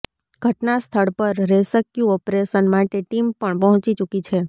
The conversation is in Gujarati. ઘટના સ્થળ પર રેસ્ક્યુ ઓપરેશન માટે ટીમ પણ પહોંચી ચૂકી છે